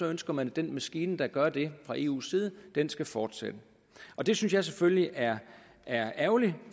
ønsker man at den maskine der gør det fra eus side skal fortsætte det synes jeg selvfølgelig er ærgerligt